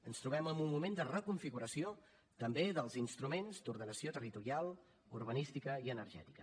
ens trobem en un moment de reconfiguració també dels instruments d’ordenació territorial urbanística i energètica